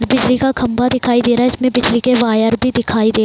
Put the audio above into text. ये बिजली का खम्भा दिखाई दे रहे है इसमें बिजली के वायर भी दिखाई दे --